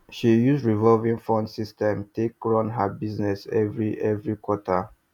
she use revolving fund system take run her business every every quarter